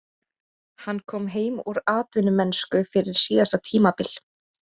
Hann kom heim úr atvinnumennsku fyrir síðasta tímabil.